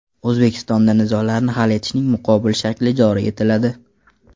O‘zbekistonda nizolarni hal etishning muqobil shakli joriy etiladi.